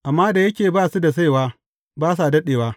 Amma da yake ba su da saiwa, ba sa daɗewa.